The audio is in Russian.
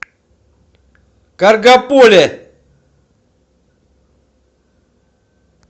каргополе